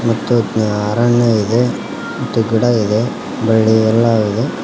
ತಜ್ಞ ಅರಣ್ಯ ಇದೆ ಮತ್ತು ಗಿಡ ಇದೆ ಬಳ್ಳಿ ಎಲ್ಲಾ ಇದೆ.